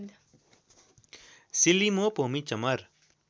सिल्लिमो पोमी चमर